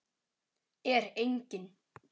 Er enginn?